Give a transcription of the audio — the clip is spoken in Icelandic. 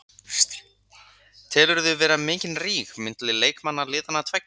Telurðu vera mikinn ríg milli leikmanna liðanna tveggja?